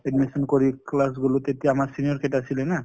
admission কৰি class গলোঁ তেতিয়া আমাৰ senior কেইটা আছিলে না।